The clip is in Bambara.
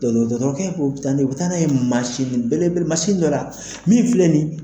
Dɔdɔgɔtɔrɔkɛ ko bɛ taa na ye, u bɛ taa n'a ye mansinbelebele mansin dɔ la, min filɛ ni.